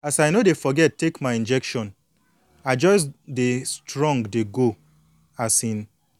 as i no dey forget take my injection i i just dey strong dey go um